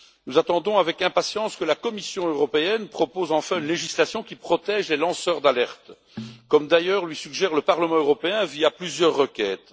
Nous attendons avec impatience que la Commission européenne propose enfin une législation qui protège les lanceurs d'alerte, comme d'ailleurs lui suggère le Parlement européen, via plusieurs requêtes.